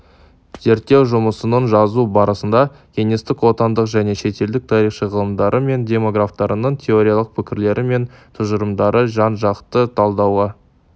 зерттеу жұмысын жазу барысында кеңестік отандық және шетелдік тарихшы ғалымдары мен демографтарының теориялық пікірлері мен тұжырымдары жан-жақты талдауға